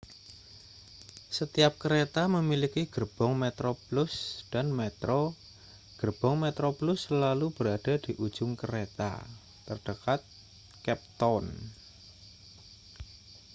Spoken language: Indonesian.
setiap kereta memiliki gerbong metroplus dan metro gerbong metroplus selalu berada di ujung kereta terdekat cape town